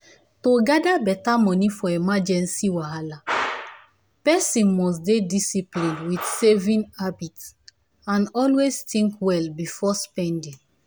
to gather better money for emergency wahala person must dey disciplined with saving habit and always think well before spending.